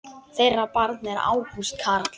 Þeirra barn er Ágúst Carl.